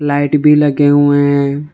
Light भी लगे हुए है।